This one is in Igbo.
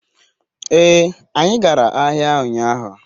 ee, anyi gara ahia unyahu